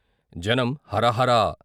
జనం " హరహరా!